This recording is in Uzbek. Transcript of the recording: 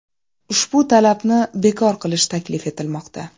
Ushbu talabni bekor qilish taklif etilmoqda.